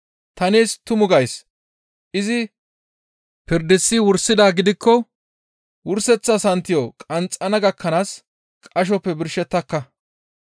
Ta nees tumu gays; izi pirdisi wursidaa gidikko wurseththa santiyo qanxxana gakkanaas qashoppe neni birshettaka.